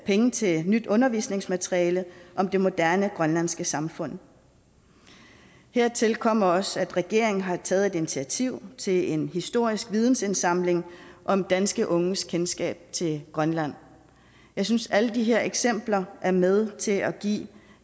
penge til nyt undervisningsmateriale om det moderne grønlandske samfund hertil kommer også at regeringen har taget et initiativ til en historisk vidensindsamling om danske unges kendskab til grønland jeg synes at alle de her eksempler er med til at give